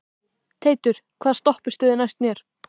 Teitur, hvaða stoppistöð er næst mér?